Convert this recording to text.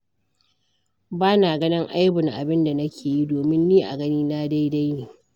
Ba na ganin aibun abin da nake yi, domin ni a ganina daidai ne.